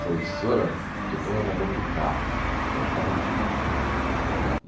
Falei, professora, que eu tenho um amor por carro também, gosto de carro antigo.